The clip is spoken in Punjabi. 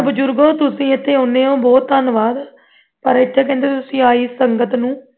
ਬੁਜ਼ੁਰਗੋ ਤੁਸੀਂ ਇੱਥੇ ਆਨਏ ਉਹ ਬਹੁਤ ਧੰਨਵਾਦ ਪਰ ਤੁਸੀਂ ਇੱਥੇ ਆਈ ਸੰਗਤ ਨੂੰ